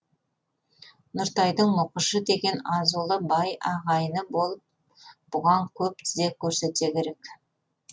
нұртайдың мұқышы деген азулы бай ағайыны болып бұған көп тізе көрсетсе керек